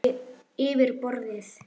Yfir borðið.